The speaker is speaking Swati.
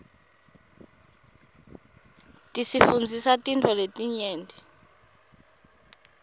tisifundzisa tintfo letinyenti